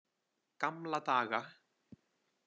Gamla daga.